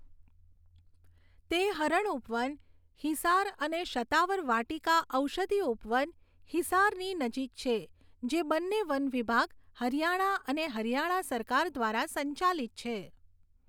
તે હરણ ઉપવન, હિસાર અને શતાવર વાટિકા ઔષધિ ઉપવન, હિસારની નજીક છે, જે બંને વન વિભાગ, હરિયાણા અને હરિયાણા સરકાર દ્વારા સંચાલિત છે.